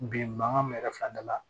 Bi mankan me kɛ fila da la